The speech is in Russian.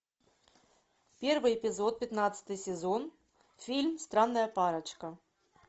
первый эпизод пятнадцатый сезон фильм странная парочка